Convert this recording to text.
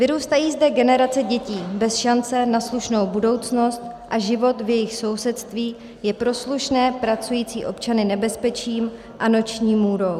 Vyrůstají zde generace dětí bez šance na slušnou budoucnost a život v jejich sousedství je pro slušné pracující občany nebezpečím a noční můrou.